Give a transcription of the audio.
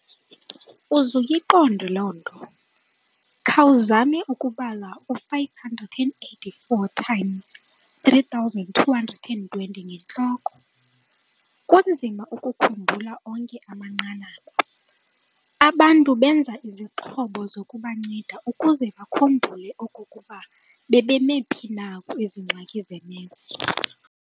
Uzuyiqonde loo nto, khawuzame ukubala u-584 x 3,220 ngentloko. kunzima ukukhumbula onke amanqanaba! Abantu benza izixhobo zokubanceda ukuze bakhumbule okokuba bebemi phi na kwezi ngxaki ze-maths.